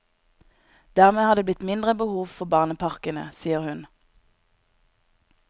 Dermed har det blitt mindre behov for barneparkene, sier hun.